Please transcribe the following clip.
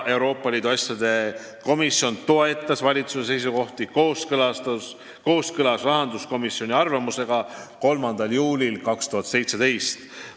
Euroopa Liidu asjade komisjon toetas valitsuse seisukohti kooskõlas rahanduskomisjoni arvamusega 3. juulil 2017.